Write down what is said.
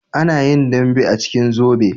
Ana yin dambe a cikin zobe